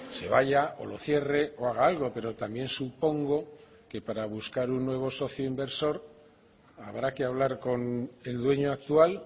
se vaya o lo cierre o haga algo pero también supongo que para buscar un nuevo socio inversor habrá que hablar con el dueño actual